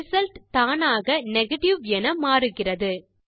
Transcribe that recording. result தானாக negative என மாறுகிறது